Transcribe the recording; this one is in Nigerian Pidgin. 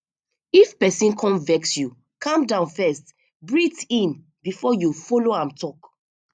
if pesin come vex you calm down first breathe in before you follow am talk